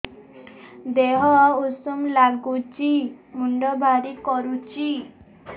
ଦିହ ଉଷୁମ ନାଗୁଚି ମୁଣ୍ଡ ଭାରି କରୁଚି